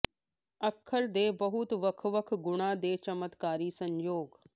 ਅੱਖਰ ਦੇ ਬਹੁਤ ਵੱਖ ਵੱਖ ਗੁਣਾਂ ਦੇ ਚਮਤਕਾਰੀ ਸੰਯੋਗ